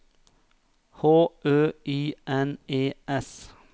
H Ø I N E S